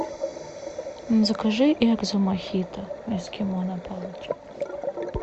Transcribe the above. закажи экзо мохито эскимо на палочке